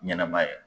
Ɲɛnɛma yɛrɛ